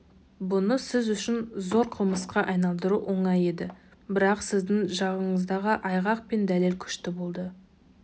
бұны сіз үшін зор қылмысқа айналдыру оңай еді брақ сіздің жағыңыздағы айғақ пен дәлел күшті болды